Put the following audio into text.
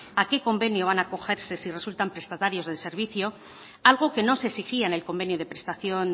a qué convenio van acogerse si resultan prestatarios del servicio algo que no se exigía en el convenio de prestación